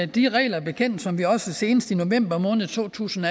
de regler bekendt som vi også senest i november måned to tusind